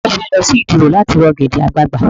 Ta ló fẹ́ lọ sí Ìdí òro láti ra ọ̀gẹ̀dẹ̀ àgbagbà?